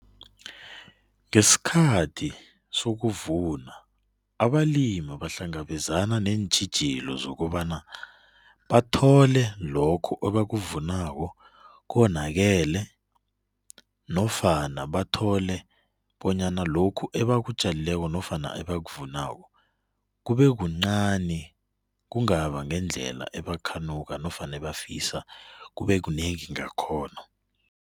Ngesikhathi sokuvuna abalimi bahlangabenzana neentjhijilo zokobana bathole lokho ebakuvunako konakele nofana bathole bonyna lokhu ebakutjalileko nofana abakuvunako kube kuncani, kungaba ngendlela bakhanuk nofana bafisa kube kunengi ngakhona.